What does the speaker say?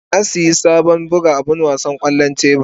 Na sayi sabon abin buga wasan kwallon tebur.